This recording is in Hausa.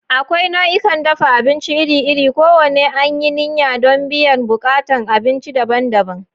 Akwai nau'ikan dafa abinci iri-iri, kowanne an yi niyya don biyan buƙatun abinci daban-daban.